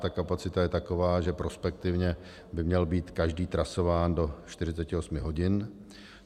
Ta kapacita je taková, že prospektivně by měl být každý trasován do 48 hodin.